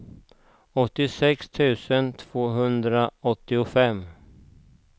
åttiosex tusen tvåhundraåttiofem